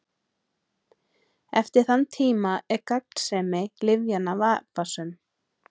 Eftir þann tíma er gagnsemi lyfjanna vafasöm.